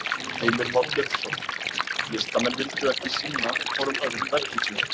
Heimir Már Pétursson: Listamenn vildu ekki sýna hvorum öðrum verkin sín?